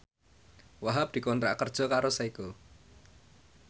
Wahhab dikontrak kerja karo Seiko